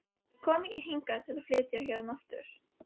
Ég kom ekki hingað til að flytja héðan aftur.